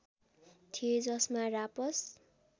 थिए जसमा रापस